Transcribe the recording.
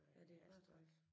Ja det er bare træls